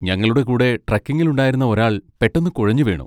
ഞങ്ങളുടെ കൂടെ ട്രെക്കിങ്ങിലുണ്ടായിരുന്ന ഒരാൾ പെട്ടെന്ന് കുഴഞ്ഞുവീണു.